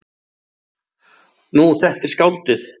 Nú, þetta er skáldið.